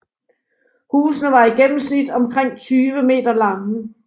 Husene var i gennemsnit omkring 20 m lange